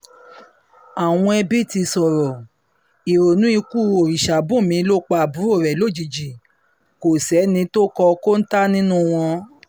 àwọn ẹbí ti sọ̀rọ̀ ìrònú ikú òrìṣábùnmí ló pa àbúrò rẹ̀ lójijì kò sẹ́ni tó kọ́ kóńtà nínú u wọn